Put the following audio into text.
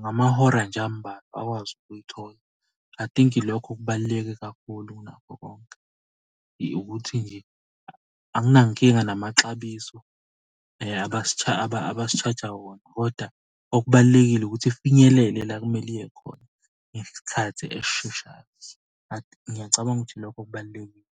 Ngamahora nje ambalwa akwazi ukuyithola. I think ilokho okubaluleke kakhulu kunakho konke, ukuthi nje anginankinga namaxabiso abasi-charge-ja wona, kodwa okubalulekile ukuthi ifinyelele la okumele iye khona ngesikhathi esisheshayo . Ngiyacabanga ukuthi lokho kubalulekile.